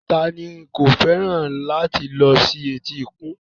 Ta ni kò fẹ́ràn láti lọ sí etíkun